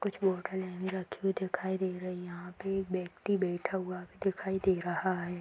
कुछ बोटल यहीं रखी हुई दिखाई दे रही। यहां पे एक व्यक्ति बैठा हुआ भी दिखाई दे रहा है।